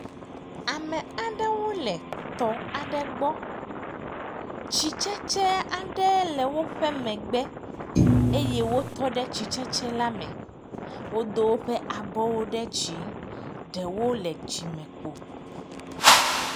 ame aɖewo le tɔ aɖe gbɔ tsi tsetsewo aɖe le wóƒe megbe eye wó tɔ ɖe tsi tsetse la me wodó wóƒe abɔwo ɖe dzi ɖewo le dzime kpo